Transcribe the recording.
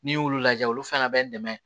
N'i y'olu lajɛ olu fana bɛ n dɛmɛ